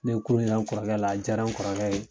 Ne ye kurun yira n kɔrɔkɛ la a jara n kɔrɔkɛ ye.